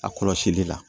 A kɔlɔsili la